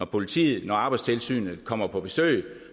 politiet eller arbejdstilsynet kommer på besøg